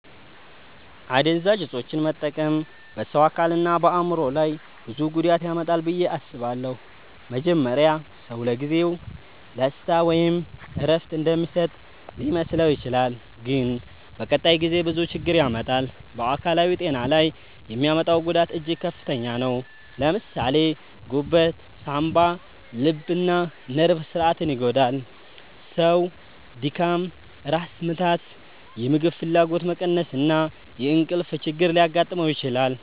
አደንዛዥ እፆችን መጠቀም በሰው አካልና በአእምሮ ላይ ብዙ ጉዳት ያመጣል ብዬ አስባለሁ። መጀመሪያ ሰው ለጊዜው ደስታ ወይም እረፍት እንደሚሰጥ ሊመስለው ይችላል፣ ግን በቀጣይ ጊዜ ብዙ ችግር ያመጣል። በአካላዊ ጤና ላይ የሚያመጣው ጉዳት እጅግ ከፍተኛ ነው። ለምሳሌ ጉበት፣ ሳንባ፣ ልብና ነርቭ ስርዓትን ይጎዳል። ሰው ድካም፣ ራስ ምታት፣ የምግብ ፍላጎት መቀነስ እና የእንቅልፍ ችግር ሊያጋጥመው ይችላል።